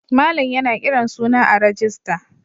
Malam yana kiran suna a rijista.